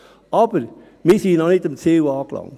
Aber wir sind noch nicht am Ziel angelangt.